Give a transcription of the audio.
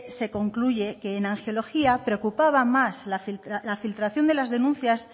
se concluye que en angiología preocupaba más la filtración de las denuncias